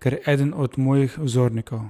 ker je eden od mojih vzornikov.